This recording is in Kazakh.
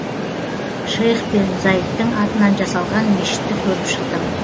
шейх бен заидтің атынан жасалған мешітті көріп шықтым